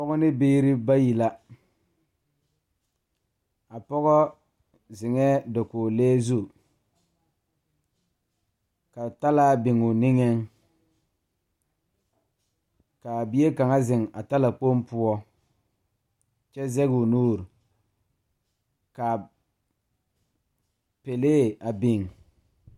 Pɔge ne biire bayi la a pɔgɔ zeŋɛɛ dakoglee zu ka talaa biŋoo niŋeŋ kaa bie kaŋa zeŋ a talakpoŋ poɔ kyɛ zegoo nuure kaa pɛlee a biŋ.